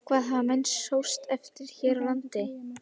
Hvað hafa menn sóst eftir hér á landi?